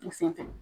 U sen fɛ